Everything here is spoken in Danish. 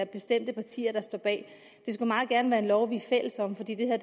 bestemte partier skal stå bag det skulle meget gerne være en lov vi er fælles om for det her